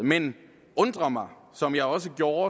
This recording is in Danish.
men undrer mig som jeg også gjorde